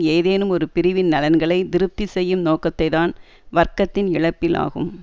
ஏதேனும் ஒரு பிரிவின் நலன்களை திருப்தி செய்யும் நோக்கத்தை தான் வர்க்கத்தின் இழப்பில் ஆகும்